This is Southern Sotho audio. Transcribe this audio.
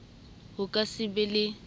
ho ka se be le